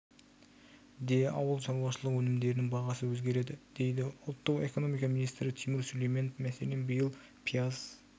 де ауыл шаруашылығы өнімдерінің бағасы өзгереді дейді ұлттық экономика министрі тимур сүлейменов мәселен биыл пияз